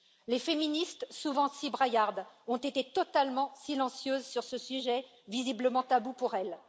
Les féministes, souvent si braillardes, ont été totalement silencieuses sur ce sujet, visiblement tabou pour elles.